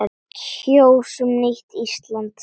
Kjósum nýtt Ísland.